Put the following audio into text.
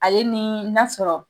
Ale ni n'a sɔrɔ